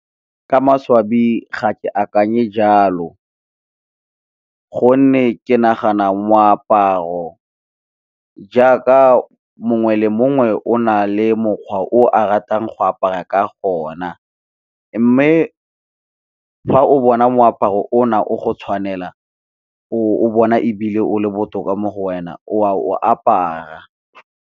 Ka maswabi ga ke akanye jalo, gonne ke nagana moaparo jaaka mongwe le mongwe o nale mokgwa o a ratang go apara ka gona, mme fa o bona moaparo o go tshwanela o bona ebile o le botoka mo go wena o a o apara.